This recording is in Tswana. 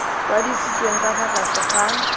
kwadisitsweng ka fa tlase ga